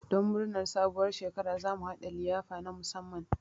Don murnar sabuwar shekara, za mu haɗa liyafa na musamman.